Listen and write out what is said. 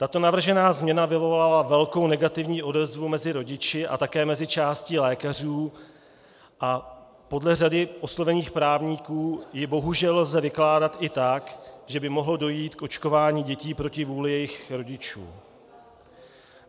Tato navržená změna vyvolala velkou negativní odezvu mezi rodiči a také mezi částí lékařů a podle řady oslovených právníků ji bohužel lze vykládat i tak, že by mohlo dojít k očkování dětí proti vůli jejich rodičů.